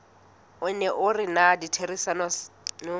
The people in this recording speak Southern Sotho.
o neng o rena ditherisanong